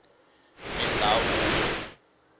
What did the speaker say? mindhavuko